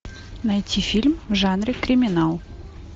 найти фильм в жанре криминал